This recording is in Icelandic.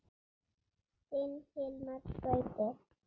Þinn Hilmar Gauti.